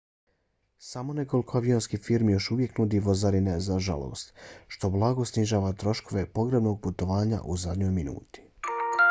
samo nekoliko avionskih firmi još uvijek nudi vozarine za žalost što blago snižava troškove pogrebnog putovanja u zadnjoj minuti